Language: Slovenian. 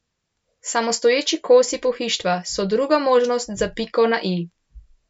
Samostoječi kosi pohištva so druga možnost za piko na i.